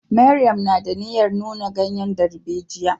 Mariam na da niyyar nuna ganyen darbejiya.